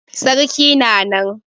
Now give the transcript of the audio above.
Sarki na nan.